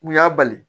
U y'a bali